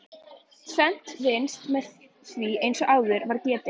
Tvennt vinnst með því eins og áður var getið.